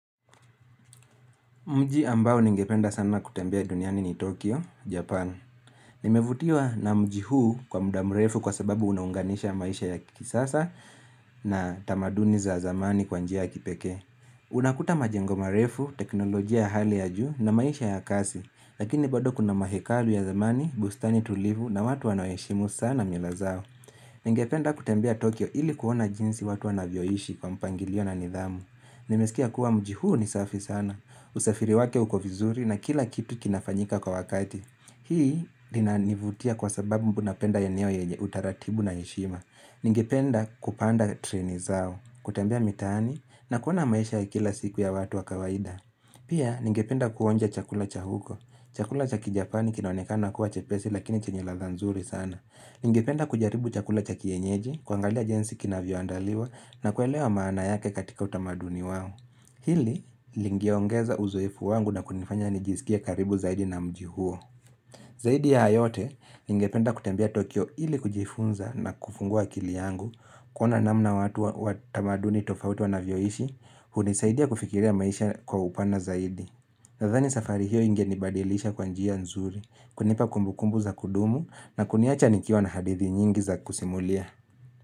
Mji ambao ningependa sana kutembea duniani ni Tokyo, Japan. Nimevutiwa na mji huu kwa muda mrefu kwa sababu unaunganisha maisha ya kisasa na tamaduni za zamani kwa njia ya kipekee. Unakuta majengo marefu, teknolojia ya hali ya juu na maisha ya kasi. Lakini bado kuna mahekalu ya zamani, bustani tulivu na watu wanaoheishimu sana mila zao. Ningependa kutembea Tokyo ili kuona jinsi watu wanavyoishi kwa mpangilio na nidhamu. Nimesikia kuwa mji huu ni safi sana. Usafiri wake uko vizuri na kila kitu kinafanyika kwa wakati Hii lina nivutia kwa sababu mbu napenda eneo yenye utaratibu na heshima Ningependa kupanda treni zao kutembea mitani na kuona maisha ya kila siku ya watu wa kawaida Pia ningependa kuonja chakula cha huko Chakula cha kijapani kinaonekana kuwa chepesi lakini chenye ladha nzuri sana Ningependa kujaribu chakula cha kienyeji kuangalia jinsi kinavyo andaliwa na kuelewa maana yake katika utamaduni wao Hili lingeongeza uzoefu wangu na kunifanya nijisikie karibu zaidi na mji huo. Zaidi yahayote ningependa kutembea Tokyo ili kujifunza na kufungua akili yangu. Kuona namna watu wa tamaduni tofauti wanavyoishi, hunisaidia kufikiria maisha kwa upana zaidi. Nadhani safari hiyo ingenibadilisha kwa njia nzuri, kunipa kumbukumbu za kudumu na kuniacha nikiwa na hadithi nyingi za kusimulia.